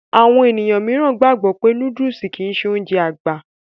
Àwọn ènìyàn míìràn gbàgbọ́ wípé nóódùsì kìí ṣe Ounjẹ àgbà